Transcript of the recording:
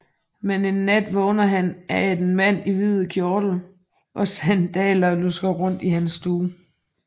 Men en nat vågner han af at en mand i hvid kjortel og sandaler lusker rundt i hans stue